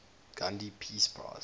gandhi peace prize